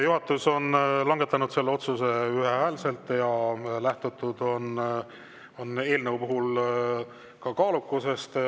Juhatus on langetanud otsuse ühehäälselt ja lähtutud on eelnõu puhul kaalukusest.